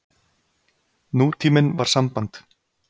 Nútíminn var samband.